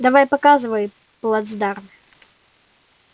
давай показывай плацдарм